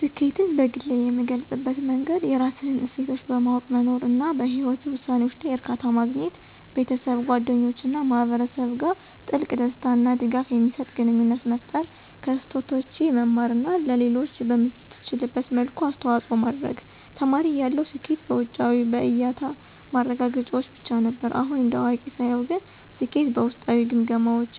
ስኬትን በግሌ የምገልፅበት መንገድ የራስህን እሴቶች በማወቅ መኖር፣ እና በህይወትህ ውሳኔዎች ላይ እርካታ ማግኘት። ቤተሰብ፣ ጓደኞች እና ማህበረሰብ ጋር ጥልቅ፣ ደስታ እና ድጋፍ የሚሰጥ ግንኙነት መፍጠር፣ ከስህተቶቼ መማር እና ለሌሎች በምትችልበት መልኩ አስተዋጽኦ ማድረግ። ተማሪ እያለሁ ስኬት በውጫዊ (በእያታ) ማረጋገጫዎች ብቻ ነበር። አሁን እንደ አዋቂ ሳየው ግን ስኬት በውስጣዊ ግምገማዎች